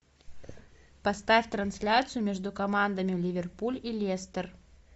поставь трансляцию между командами ливерпуль и лестер